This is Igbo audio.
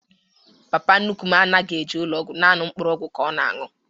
Papa nnukwu m anaghị eje ụlọ ọgwụ, nanị mkpọrọgwụ ka ọ na anwụ